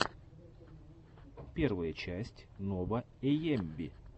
первая часть нова эйэмви